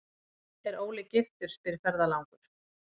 er Óli giftur, spyr ferðalangur.